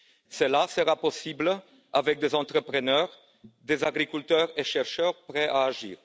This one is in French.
Cela sera possible avec des entrepreneurs, des agriculteurs et des chercheurs prêts à agir.